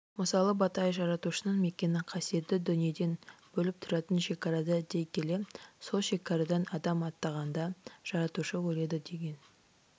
мысалы батай жаратушының мекені қасиеттіні дүниеден бөліп тұратын шекарада дей келе сол шекарадан адам аттағанда жаратушы өледі деген